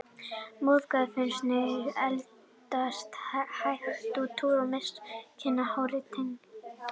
Móðgun við neysluhyggjuna að eldast, hætta á túr, missa kynhvötina, hárið, tennurnar.